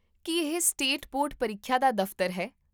ਕੀ ਇਹ state board ਪ੍ਰੀਖਿਆ ਦਾ ਦਫ਼ਤਰ ਹੈ?